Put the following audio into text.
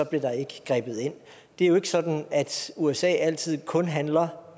blev der ikke grebet ind det er jo ikke sådan at usa altid kun handler